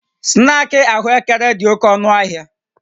Snaakị ahụekere dị oke ọnụ ahịa